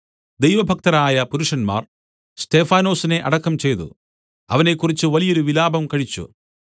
ദൈവഭക്തരായ പുരുഷന്മാർ സ്തെഫാനൊസിനെ അടക്കം ചെയ്തു അവനെക്കുറിച്ച് വലിയൊരു വിലാപം കഴിച്ചു